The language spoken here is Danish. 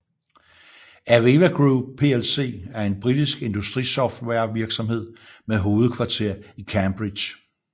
AVEVA Group plc er en britisk industrisoftwarevirksomhed med hovedkvarter i Cambridge